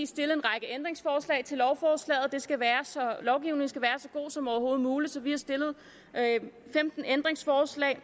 stillet en række ændringsforslag til lovforslaget lovgivningen skal være så god som overhovedet muligt så vi har stillet femten ændringsforslag